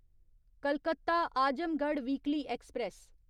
Calcutta Azamgarh weekly express